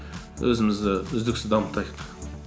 өзімізді үздіксіз дамытайық